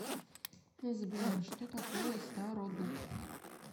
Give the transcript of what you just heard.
сбер что такое стародуб